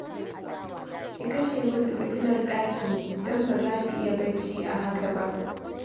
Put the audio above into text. Ki kashe musu fitilar ɗakin, don ba za su iya bacci a haka ba